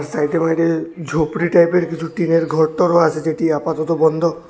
ঝুপড়ি টাইপের কিছু টিনের ঘর টরও আছে যেটি আপাতত বন্ধ।